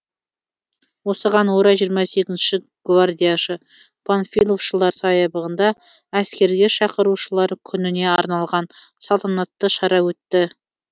осыған орай жиырма сегізінші гвардияшы панфиловшылар саябағында әскерге шақырушылар күніне арналған салтанатты шара өтті